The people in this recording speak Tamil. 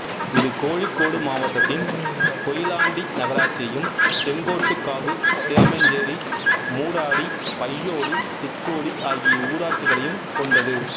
இது கோழிக்கோடு மாவட்டத்தின் கொயிலாண்டி நகராட்சியையும் செங்கோட்டுகாவு சேமஞ்சேரி மூடாடி பய்யோளி திக்கோடி ஆகிய ஊராட்சிகளையும் கொன்டது